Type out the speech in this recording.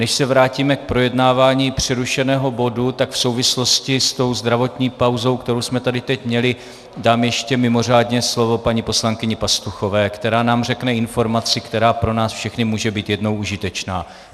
Než se vrátíme k projednávání přerušeného bodu, tak v souvislosti s tou zdravotní pauzou, kterou jsme tady teď měli, dám ještě mimořádně slovo paní poslankyni Pastuchové, která nám řekne informaci, která pro nás všechny může být jednou užitečná.